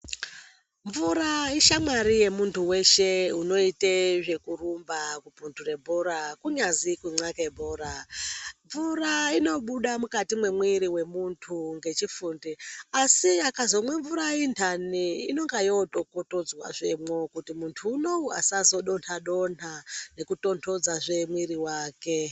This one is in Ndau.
Mvura ishamwari yemuntu weshe unoite zvekurumba kubvuture bhora kunyazi kunxake bhora, mvura inobude mukati mwemwiiri wemuntu ngechifundi asi akazomwa mvura iyi ndani inonga yotokotodzwazvemwo kuti muntu unouyu azodonha donha nekutondodzazve mwiiri wake .